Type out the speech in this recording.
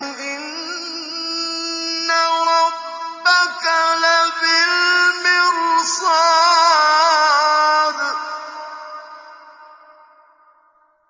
إِنَّ رَبَّكَ لَبِالْمِرْصَادِ